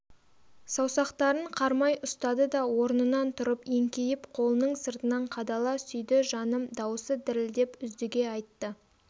саусақтарын қармай ұстады да орнынан тұрып еңкейіп қолының сыртынан қадала сүйді жаным дауысы дірілдеп үздіге айтты